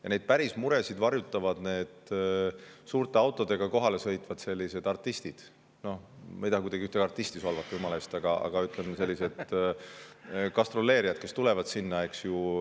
Ja neid päris muresid varjutavad need suurte autodega kohale sõitvad sellised artistid – noh, ma ei taha kuidagi ühtegi artisti solvata, jumala eest –, aga ütleme, sellised gastroleerijad, kes tulevad sinna, eks ju.